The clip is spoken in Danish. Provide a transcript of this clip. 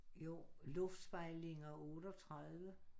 Jo luftspejlinger 38